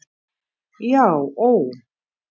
Já ó.